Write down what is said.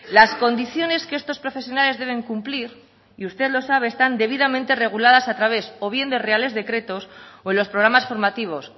las condiciones que estos profesionales deben cumplir y usted lo sabe están debidamente reguladas a través o bien de reales decretos o en los programas formativos